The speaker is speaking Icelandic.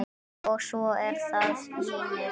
Og svo er það vínið.